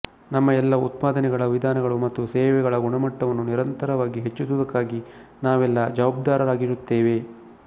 ನಮ್ಮ ಎಲ್ಲಾ ಉತ್ಪಾದನೆಗಳ ವಿಧಾನಗಳ ಮತ್ತು ಸೇವೆಗಳ ಗುಣಮಟ್ಟವನ್ನು ನಿರಂತರವಾಗಿ ಹೆಚ್ಚಿಸುವುದಕ್ಕಾಗಿ ನಾವೆಲ್ಲಾ ಜವಾಬ್ದಾರರಾಗಿರುತ್ತೇವೆ